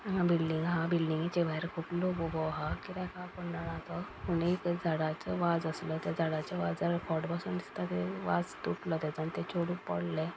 हांगा बील्डींग आहा बील्डींगेच्या भायर खूप लोक उभो आहा. कीदे का कोण जाणा तो आनी थय झाडाचो वाज आसलो त्या झाडाच्या वाजार खोट बसोन दिस्ता ते वाज तुटलो तेजो आनी ते चेडु पडले.